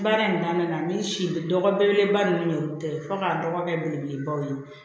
Baara in na ni si dɔgɔ belebeleba ninnu tɛ fɔ k'an dɔgɔkɛ belebelebaw ye